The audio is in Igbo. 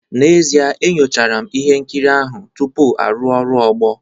N'ezie, enyochara m ihe nkiri ahụ tupu arụ ọrụ ogbo